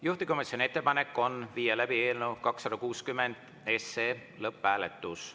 Juhtivkomisjoni ettepanek on viia läbi eelnõu 260 lõpphääletus.